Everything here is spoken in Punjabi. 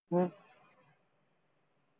ਹਮ